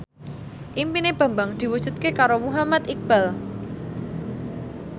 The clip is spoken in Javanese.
impine Bambang diwujudke karo Muhammad Iqbal